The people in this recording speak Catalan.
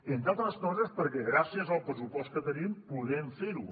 entre altres coses perquè gràcies al pressupost que tenim podem fer ho